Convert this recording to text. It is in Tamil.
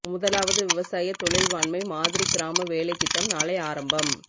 முதலாவது விவசாய தொழில்வாண்மை மாதிரிக் கிராம வேலைத் திட்டம் நாளை ஆரம்பம்